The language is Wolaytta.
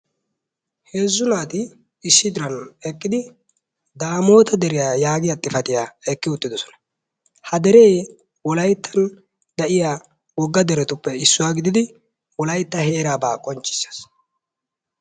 Heezzu naati issi diran eqqidi daamota deriyaa yaagiyaa xifatiyaa oyqqi uttidoosona. ha dere Wolyattan de'iyaa wogga deretuppe issuwaa gididi Wolaytta heeraba qonccissees.